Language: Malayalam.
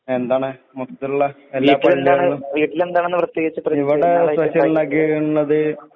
എന്താണ്? മുത്തുള്ള അലിയ്ക്കലിന്റെ. ഇവിടെ സ്‌പെഷ്യൽ ഉണ്ടാക്കിയേക്കുന്നത്